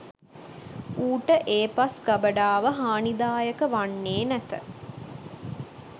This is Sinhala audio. ඌට ඒ පස් ගබඩාව හානිදායක වන්නේ නැත.